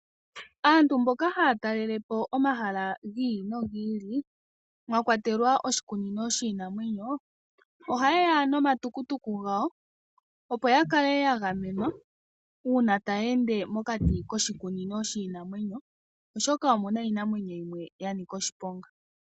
Aantu mboka haya talelepo omahala giili nogi ili mwakwatekwa oshikunino shiinamwenyo, oha yeya nomatukutuku gawo, opo yakale yagamenwa uuna taya ende mokati koshikunino shiinamwenyo, oshoka omuna iinamwenyo yimwe yanika oshiponga.